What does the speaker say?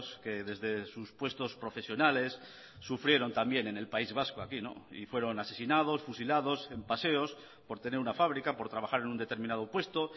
que desde sus puestos profesionales sufrieron también en el país vasco aquí y fueron asesinados fusilados en paseos por tener una fábrica por trabajar en un determinado puesto